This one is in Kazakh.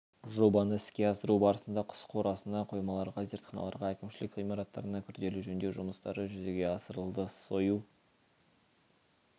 жобаны іске асыру барысында құс қорасына қоймаларға зертханаларға әкімшілік ғимараттарына күрделі жөндеу жұмыстары жүзеге асырылды сою